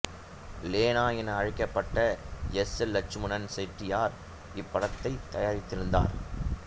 லேனா என அழைக்கப்பட்ட S M Lakshmanan Chettiar இப்படத்தைத் தயாரித்திருந்தார்